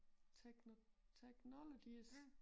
Tekno techologies